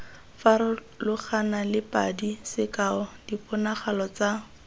farologanale padi sekao diponagalo tsa